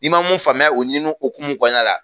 N'i ma mun faamuya u ɲinini hokumu kɔnɔna la